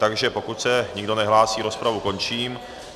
Takže pokud se nikdo nehlásí, rozpravu končím.